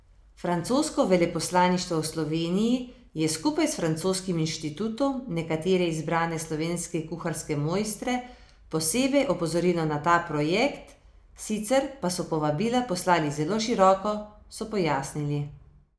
Francosko veleposlaništvo v Sloveniji je skupaj s Francoskim inštitutom nekatere izbrane slovenske kuharske mojstre posebej opozorilo na ta projekt, sicer pa so povabila poslali zelo široko, so pojasnili.